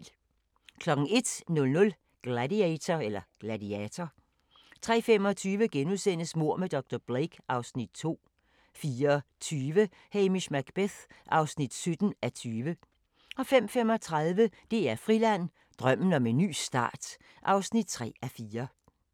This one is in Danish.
01:00: Gladiator 03:25: Mord med dr. Blake (Afs. 2)* 04:20: Hamish Macbeth (17:20) 05:35: DR Friland: Drømmen om en ny start (3:4)